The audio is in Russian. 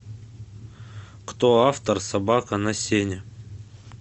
кто автор собака на сене